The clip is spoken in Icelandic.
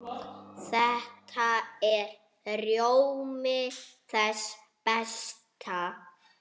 Þetta er rjómi þess besta.